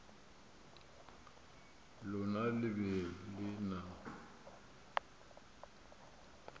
lona le be le na